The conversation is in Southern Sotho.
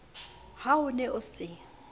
ha o ne o se